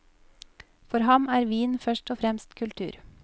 For ham er vin først og fremst kultur.